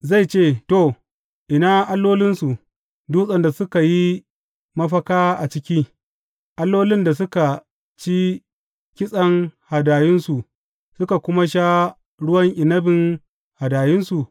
Zai ce, To, ina allolinsu, dutsen da suka yi mafaka a ciki, allolin da suka ci kitsen hadayunsu suka kuma sha ruwan inabin hadayunsu?